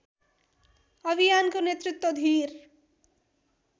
अभियानको नेतृत्व धिर